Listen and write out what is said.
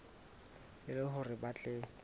e le hore ba tle